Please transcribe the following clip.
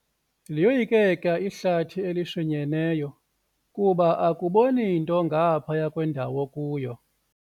Liyoyikeka ihlathi elishinyeneyo kuba akuboni nto ngaphaya kwendawo okuyo.